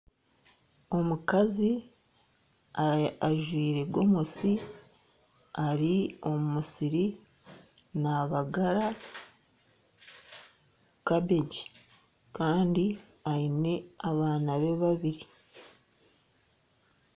Omukazi ajwaire gomesi ari omu musiri nabagara kabeegi kandi aine abaana be babiri.